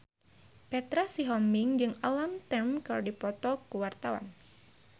Petra Sihombing jeung Alam Tam keur dipoto ku wartawan